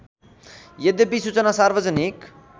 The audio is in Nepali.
यद्यपि सूचना सार्वजनिक